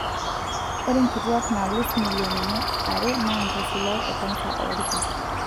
Ore nkituak naalus milionini are naa nkaisulak e kansa oolki.